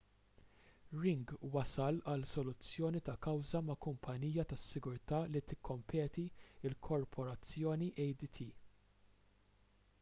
ring wasal għal soluzzjoni ta' kawża ma' kumpanija tas-sigurtà li tikkompeti il-korporazzjoni adt